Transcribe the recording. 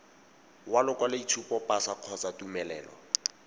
wa lokwaloboitshupo pasa kgotsa tumelelo